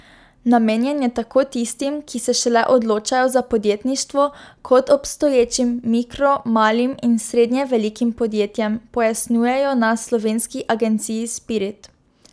Namenjen je tako tistim, ki se šele odločajo za podjetništvo, kot obstoječim mikro, malim in srednje velikim podjetjem, pojasnjujejo na slovenski agenciji Spirit.